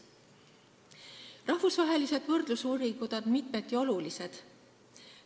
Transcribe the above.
Rahvusvahelised võrdlusuuringud on mitmeti olulised.